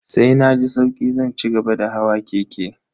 Sai na ji sauki zan cigaba da hawa keke.